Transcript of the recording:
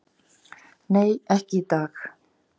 """Nei, ekki í dag."""